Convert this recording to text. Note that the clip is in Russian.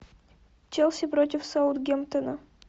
челси против саутгемптона